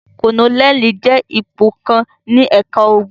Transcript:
Kólónẹ́ẹ́lì jẹ́ ipò kan ní ẹ̀ka ogun.